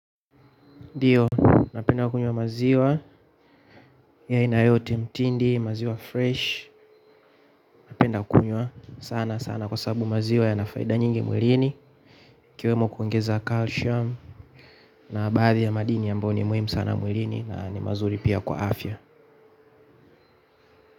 Ndio, napenda kukunywa maziwa ya aina yoyote mtindi, maziwa fresh. Napenda kunywa sana sana kwa sababu maziwa yana faida nyingi mwilini ikiwemo kuongeza calcium na baadhi ya madini ambayo ni muhimu sana mwilini na ni mazuri pia kwa afya.